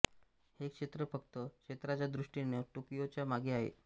हे क्षेत्र फक्त क्षेत्राच्या दृष्टीने टोकियोच्या मागे आहे